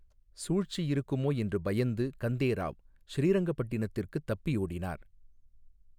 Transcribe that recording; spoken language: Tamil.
சூழ்ச்சி இருக்குமோ என்று பயந்து, கந்தே ராவ் ஸ்ரீரங்கபட்டணத்திற்குத் தப்பியோடினார்.